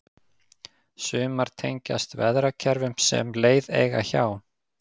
sumar tengjast veðrakerfum sem leið eiga hjá